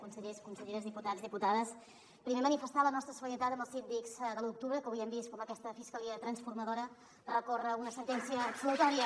consellers conselleres diputats diputades primer manifestar la nostra solidaritat amb els síndics de l’u d’octubre que avui hem vist com aquesta fiscalia transformadora recorre una sentència absolutòria